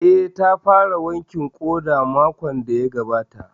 Eh, ta fara wankin ƙoda makon da ya gabata